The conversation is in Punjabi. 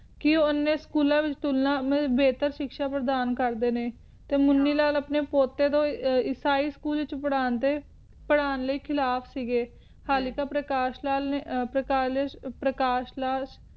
ਕਿ ਉਨ੍ਹੇ ਸ੍ਚੂਲਾਂ ਵਿਚ ਬੇਹਤਰ ਸ਼ਿਕ੍ਸ਼ਾ ਪ੍ਰਧਾਨ ਕਰਦੇ ਨੇ ਤੇ ਮੁੰਨੀ ਲਾਲ ਆਪਣੇ ਪੋਟੇ ਨੂੰ ਈਸਾਈ school ਵਿਚ ਪਰ੍ਹਾਂ ਦੇ ਪਰ੍ਹਾਂ ਸੀ ਗੇ ਹਾਲੀ ਕ ਪਰਕਾਸ਼ ਲਾਲ ਨੇ ਪ੍ਰਕਾਸ਼ ਪਾਰ ਲਾਲ